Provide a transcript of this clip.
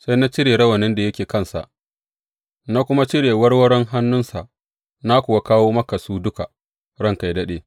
Sai na cire rawanin da yake kansa, na kuma cire warwaron hannunsa, na kuwa kawo maka su duka, ranka yă daɗe!